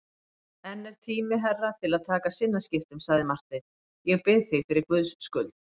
Enn er tími herra til að taka sinnaskiptum, sagði Marteinn,-ég bið þig fyrir Guðs skuld.